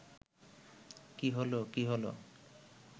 কী হল, কী হল